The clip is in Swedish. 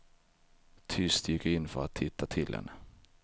Tyst gick jag in för att titta till henne.